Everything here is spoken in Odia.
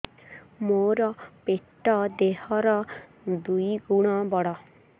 ମୋର ପେଟ ଦେହ ର ଦୁଇ ଗୁଣ ବଡ